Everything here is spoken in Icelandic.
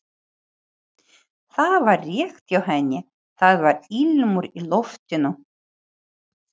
Þetta var rétt hjá henni, það var ilmur í loftinu.